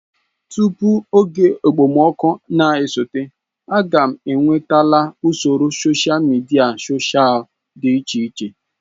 Tutu oge okpomọkụ na-esote, m ga-enwetala usoro sosha midia sosha dị iche iche.